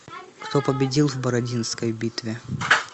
кто победил в бородинской битве